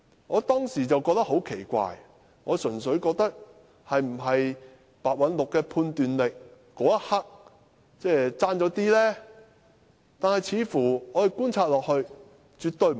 我當時覺得很奇怪，心想是否白韞六的判斷力剛巧在那一刻稍差一點呢？